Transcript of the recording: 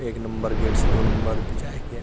एक number gate से दो नंबर जाए के--